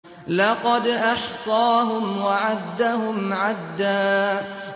لَّقَدْ أَحْصَاهُمْ وَعَدَّهُمْ عَدًّا